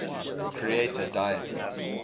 creator deities